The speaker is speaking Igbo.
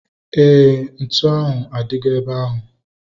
Éè, ntụ ahu adigo ebe ahu